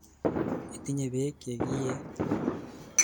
Itinye peek che kiee?